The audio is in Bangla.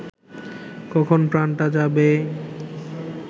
কখন প্রানটা যাবে